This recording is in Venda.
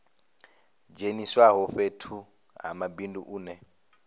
dzheniswaho fhethu ha mabindu une